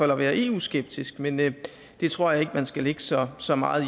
være eu skeptisk men men det tror jeg ikke at man skal lægge så så meget